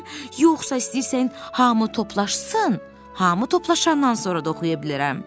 yoxsa istəyirsən hamı toplaşsın, hamı toplaşandan sonra da oxuya bilərəm.